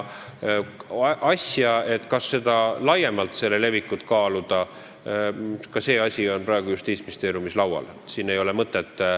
Kas selle asja levikut laiemalt kaaluda, ka see on praegu Justiitsministeeriumis arutelul.